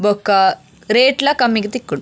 ಬೊಕ್ಕ ರೇಟ್ಲ ಕಮ್ಮಿಗ್ ತಿಕ್ಕುಂಡು.